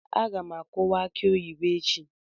Aga m akuwa aki oyibo echi.